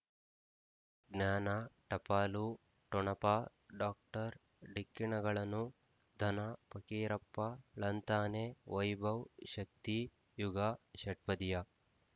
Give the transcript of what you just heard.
ಜ್ಞಾನ ಟಪಾಲು ಠೊಣಪ ಡೋಕ್ಟರ್ ಢಿಕ್ಕಿ ಣಗಳನು ಧನ ಫಕೀರಪ್ಪ ಳಂತಾನೆ ವೈಭವ್ ಶಕ್ತಿ ಯುಗಾ ಷಟ್ಪದಿಯ